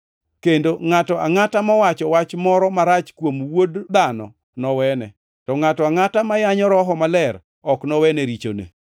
Kendo ngʼato angʼata mowacho wach moro marach kuom Wuod Dhano nowene, to ngʼato angʼata ma yanyo Roho Maler ok nowene richone.